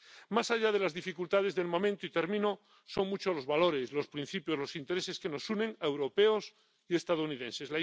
Más allá de las dificultades del momento —y termino—, son muchos los valores, los principios y los intereses que nos unen a europeos y estadounidenses.